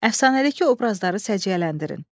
Əfsanədəki obrazları səciyyələndirin.